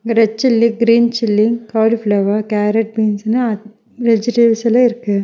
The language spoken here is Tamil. Red chilli green chilli cauliflower carrot பீன்ஸ்ஸுனா வெஜிடபிள்ஸ் எல்லா இருக்கு.